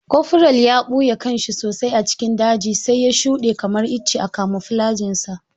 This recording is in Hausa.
Koforal ya ɓuye kanshi sosai a cikin daji sai ya shuɗe kamar icce a kamuflajin sa.